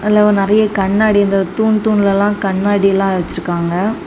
அதுல உ நிறைய கண்ணாடி இந்த தூண் தூண்ல எல்லா கண்ணாடி எல்லா வச்சிருக்காங்க.